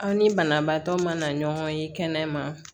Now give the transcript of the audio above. Aw ni banabaatɔ ma na ɲɔgɔn ye kɛnɛma